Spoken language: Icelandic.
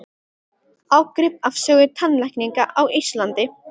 Ágrip af sögu tannlækninga á Íslandi.